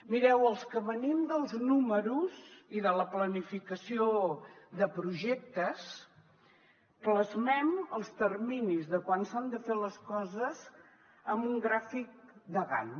mireu els que venim dels números i de la planificació de projectes plasmem els terminis de quan s’han de fer les coses en un gràfic de gantt